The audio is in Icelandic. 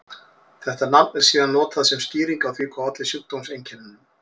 Þetta nafn er síðan notað sem skýring á því hvað olli sjúkdómseinkennunum.